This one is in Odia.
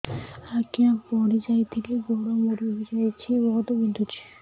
ଆଜ୍ଞା ପଡିଯାଇଥିଲି ଗୋଡ଼ ମୋଡ଼ି ହାଇଯାଇଛି ବହୁତ ବିନ୍ଧୁଛି